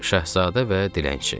Şahzadə və dilənçi.